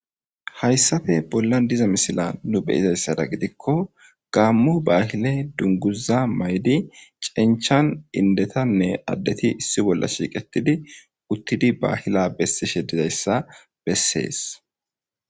hayssafe bollan diza misila nu beyizayssada gidikko gaammu baahile dunguza maydi cinchan indetanne addeti issi bolla shiiqetidi uttidi baahila bessishe dizayssa bessees